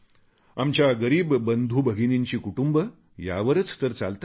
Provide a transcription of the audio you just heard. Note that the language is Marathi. आमच्या गरीब बंधूभगिनींची कुटुंब यावरच तर चालतात